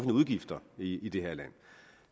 udgifter i det her land